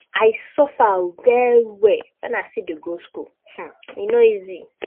I suffer well-well wen I still dey go skool, e no easy.